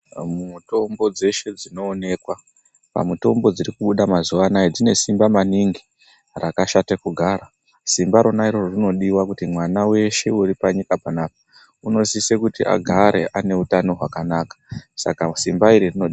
Mitombo dzeshe dzinoonekwa pamitombo dziri kubuda mazuwa anaya dzine simba maningi rakashata kugara simba rona iroro rinodiwa kuti mwana weshe uri panyika papana unosisa kuti agare ane utano hwakanaka saka simba iri rino..